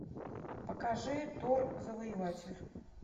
покажи тор завоеватель